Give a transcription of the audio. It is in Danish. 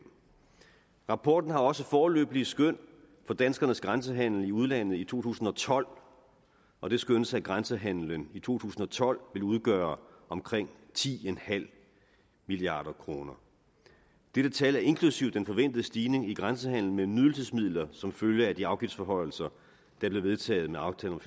rapporten har også foreløbige skøn for danskernes grænsehandel i udlandet i to tusind og tolv og det skønnes at grænsehandelen i to tusind og tolv vil udgøre omkring ti milliard kroner dette tal er inklusive den forventede stigning i grænsehandelen med nydelsesmidler som følge af de afgiftsforhøjelser der blev vedtaget med aftalen